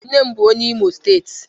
nne m bu onye Imo state